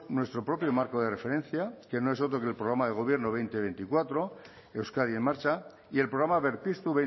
nuestro propio marco de referencia que no es otro que el programa de gobierno dos mil veinte dos mil veinticuatro euskadi en marcha y el programa berpiztu